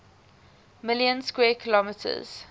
million square kilometers